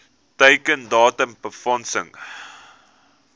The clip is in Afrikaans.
teiken datum befondsing